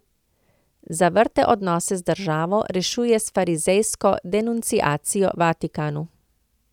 Zavrte odnose z državo rešuje s farizejsko denunciacijo Vatikanu.